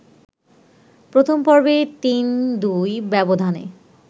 প্রথম পর্বে ৩-২ ব্যবধানে